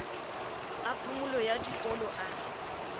a phomolo ya dikolo a